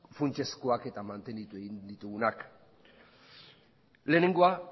funtsezkoak eta mantenitu egin ditugunak lehenengoa